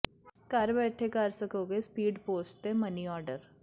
ਘਰ ਬੈਠੇ ਕਰ ਸਕੋਗੇ ਸਪੀਡ ਪੋਸਟ ਤੇ ਮਨੀ ਆਰਡਰ